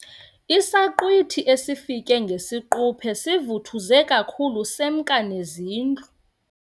Isaqhwithi esifike ngesiquphe sivuthuze kakhulu semka nezindlu.